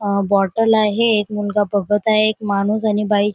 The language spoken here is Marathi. अ बॉटल आहे एक मुलगा बघत आहे एक माणूस आणि बाई--